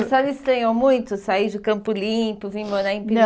E a senhora estranhou muito, sair de Campo Limpo, vir morar em Piri... Não